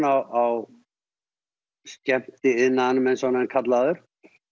á skemmtiiðnaðinum eins og hann er kallaður